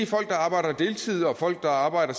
folk der arbejder deltids og folk der arbejder